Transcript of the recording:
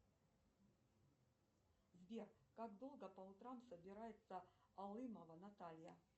сбер как долго по утрам собирается алымова наталья